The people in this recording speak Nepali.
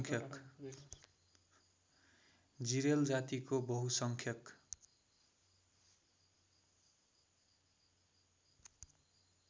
जिरेल जातिको बहुसङ्ख्यक